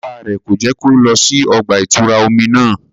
Bàbà rẹ ko jẹ ki o lọ sí ọgba-itura omí náà